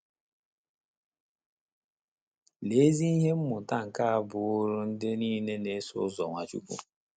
Lee ezi ihe mmụta nke a bụụrụ ndị nile na - eso ụzọ Nwachukwu!